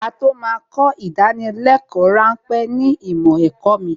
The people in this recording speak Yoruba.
Á tó máa kọ ìdánwò ráńpẹ̀ ní ìmọ̀ ẹ̀kọ́ mi